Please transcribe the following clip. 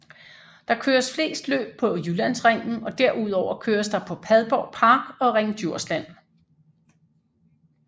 Der køres flest løb på Jyllandsringen og derudover køres der på Padborg Park og Ring Djursland